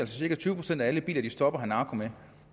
cirka tyve procent af alle biler de stopper har narko med